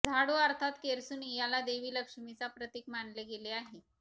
झाडू अर्थात केरसुणी याला देवी लक्ष्मीचा प्रतीक मानले गेले आहे